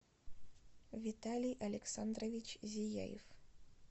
виталий александрович зияев